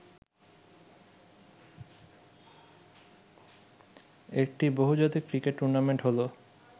একটি বহুজাতিক cricket tournament হলো